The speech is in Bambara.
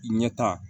Ɲɛta